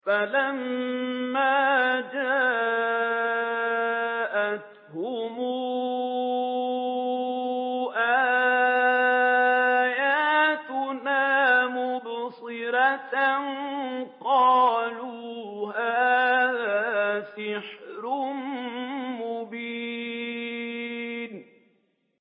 فَلَمَّا جَاءَتْهُمْ آيَاتُنَا مُبْصِرَةً قَالُوا هَٰذَا سِحْرٌ مُّبِينٌ